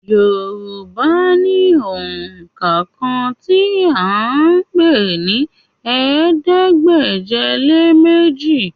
Yorùbá ní òǹkà kan tí à ń pè ní ̀ẹẹ́dégbèje-lé-méjì